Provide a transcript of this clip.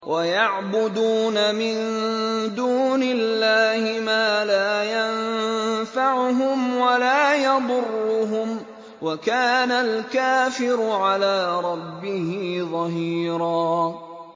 وَيَعْبُدُونَ مِن دُونِ اللَّهِ مَا لَا يَنفَعُهُمْ وَلَا يَضُرُّهُمْ ۗ وَكَانَ الْكَافِرُ عَلَىٰ رَبِّهِ ظَهِيرًا